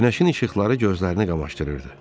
Günəşin işıqları gözlərini qamaşdırırdı.